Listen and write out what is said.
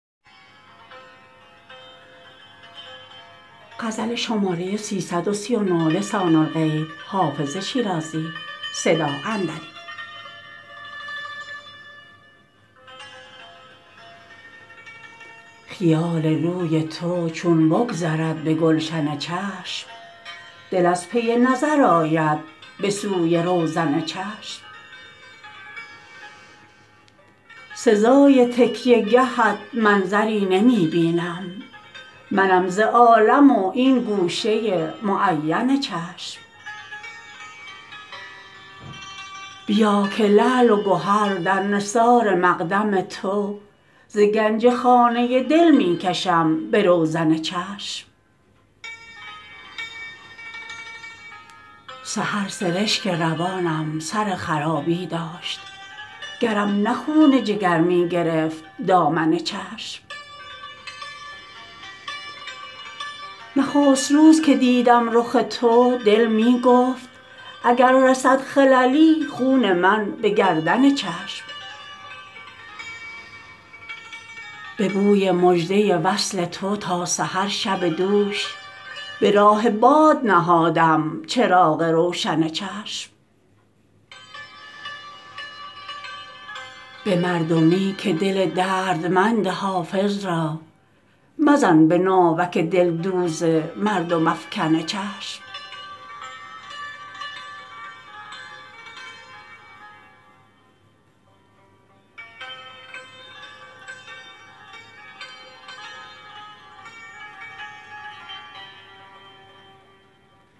خیال روی تو چون بگذرد به گلشن چشم دل از پی نظر آید به سوی روزن چشم سزای تکیه گهت منظری نمی بینم منم ز عالم و این گوشه معین چشم بیا که لعل و گهر در نثار مقدم تو ز گنج خانه دل می کشم به روزن چشم سحر سرشک روانم سر خرابی داشت گرم نه خون جگر می گرفت دامن چشم نخست روز که دیدم رخ تو دل می گفت اگر رسد خللی خون من به گردن چشم به بوی مژده وصل تو تا سحر شب دوش به راه باد نهادم چراغ روشن چشم به مردمی که دل دردمند حافظ را مزن به ناوک دلدوز مردم افکن چشم